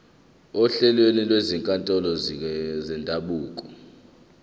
ohlelweni lwezinkantolo zendabuko